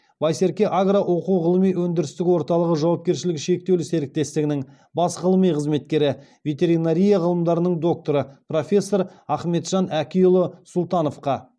байсерке агро оқу ғылыми өндірістік орталығы жауапкершілігі шектеулі серіктестігінің бас ғылыми қызметкері ветеринария ғылымдарының докторы профессор ахметжан әкиұлы сұлтановқа